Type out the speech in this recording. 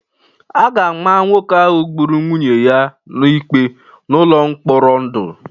A ga-ama nwoke ahụ gburu nwunye ya ikpe n'ụlọ mkpọrọ ndụ